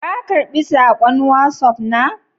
Ka karɓi sakon Wasof na?